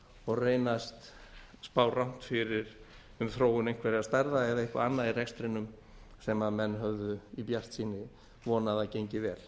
og reynast spá rangt fyrir um þróun einhverra starfa eða eitthvað annað í rekstrinum sem menn höfðu í bjartsýni vonað að gengi vel